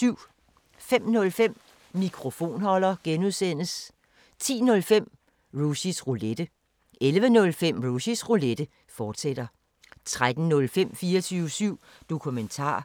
05:05: Mikrofonholder (G) 10:05: Rushys Roulette 11:05: Rushys Roulette, fortsat 13:05: 24syv Dokumentar